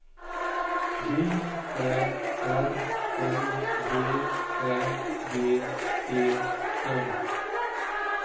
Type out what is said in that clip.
J Ä R N V Ä G E N